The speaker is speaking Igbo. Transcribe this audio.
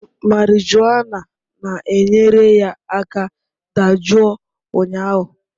Marijuana na-enyere ya aka dajụọ ụnyahụ